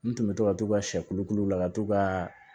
N tɛmɛtɔ ka t'u ka siyɛ kolokolo la ka t'u ka